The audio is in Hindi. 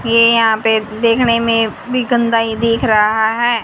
ये यहां पे देखने में भी गंदा ही दिख रहा है।